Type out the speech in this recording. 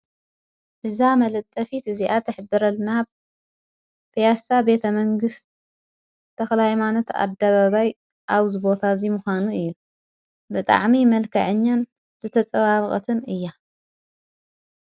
እዛ መልጠፊት እዚኣት ኣኅብረል ናብ ፍያሳ ቤተ መንግሥት ተኽላዕማነት ኣዳበባይ ኣው ዝቦታ እዙ ምዃኑ እዩ ብጣዕሚ መልከ ዕኛን ዘተጸዋብቐትን እያ።